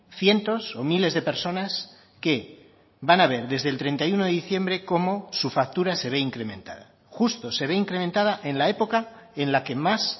cientos o miles de personas que van a ver desde el treinta y uno de diciembre cómo su factura se ve incrementada justo se ve incrementada en la época en la que más